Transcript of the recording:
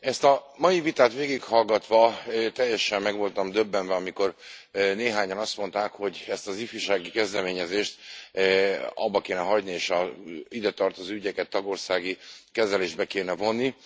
Ezt a mai vitát végighallgatva teljesen meg voltam döbbenve, amikor néhányan azt mondták, hogy ezt az ifjúsági kezdeményezést abba kéne hagyni és az idetartozó ügyeket tagországi kezelésbe kéne vonni.